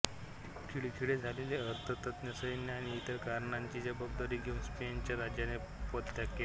खिळखिळे झालेले अर्थतंत्र सैन्य आणि इतर कारणांची जबाबदारी घेऊन स्पेनच्या राजाने पदत्याग केला